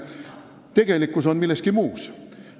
Tegelikkus on milleski muus.